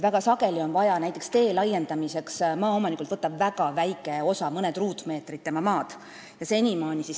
Väga sageli on vaja näiteks tee laiendamiseks maaomanikult võtta väga väike osa tema maast, mõned ruutmeetrid.